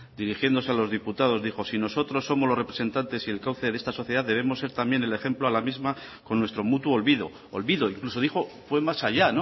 dirigiéndose a los diputados dijo si nosotros somos los representantes y el cauce de esta sociedad debemos ser también el ejemplo a la misma con nuestro mutuo olvido olvido incluso dijo fue más allá